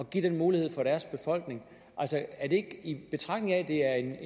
give den mulighed til deres befolkning i betragtning af at det er